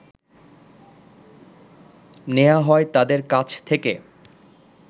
নেয়া হয় তাদের কাছ থেকে